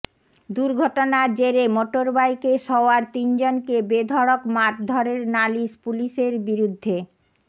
দুর্ঘটনার জেরে মোটরবাইকে সওয়ার তিনজনকে বেধড়ক মারধরের নালিশ পুলিশের বিরুদ্ধে